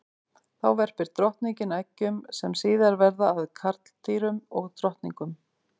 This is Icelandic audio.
Þá verpir drottningin eggjum sem síðar verða að karldýrum og drottningum.